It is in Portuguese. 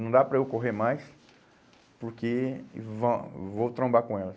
Não dá para eu correr mais, porque vã vou trombar com elas.